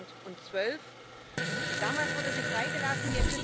2012. Damals wurde sie freigelassen.